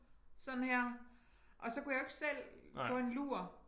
Sådan her og så kunne jeg jo ikke selv få en lur